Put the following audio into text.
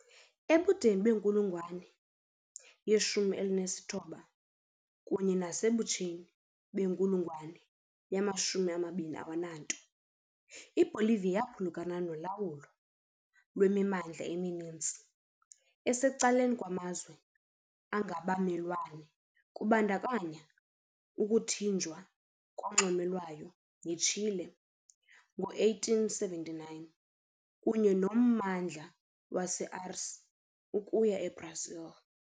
Ebudeni benkulungwane ye-19 kunye nasebutsheni benkulungwane yama-20 iBolivia yaphulukana nolawulo lwemimandla emininzi esecaleni kumazwe angabamelwane kubandakanya ukuthinjwa konxweme lwayo yiChile ngo-1879 kunye nommandla waseAcre ukuya eBrazil.